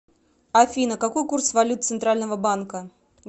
афина какой курс валют центрального банка